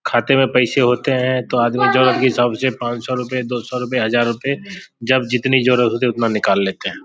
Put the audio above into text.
खाते में पैसे होते है तो आदमी जरूरत के हिसाब से पांच सौ रूपए दो सौ रूपए हज़ार रूपए जब जितनी जरूरत होती है तो उतना निकाल लेते है।